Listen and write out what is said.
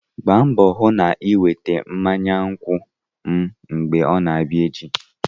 Gbaa mbọ hụ na ị weta mmanya nkwụ m mgbe ọ na-abịa echi!